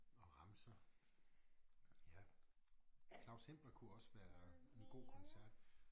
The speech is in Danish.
Og remser ja Claus Hempler kunne også være en god koncert